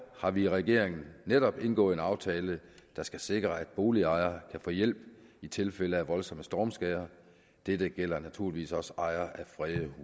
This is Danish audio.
har vi i regeringen netop indgået en aftale der skal sikre at boligejere kan få hjælp i tilfælde af voldsomme stormskader dette gælder naturligvis også ejere af fredede